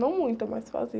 Não muita, mas fazia.